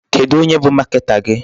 Kedụ onye bụ marketer gị?